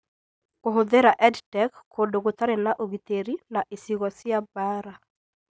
Kũhũthĩra EdTech kũndũ gũtarĩ na ũgitĩri, na icigo cia mbaara